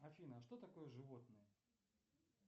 афина что такое животные